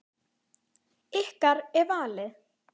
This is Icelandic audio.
Ykkar er valið.